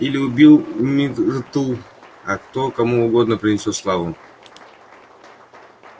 или убил миртл а кто кому угодно принесёт славу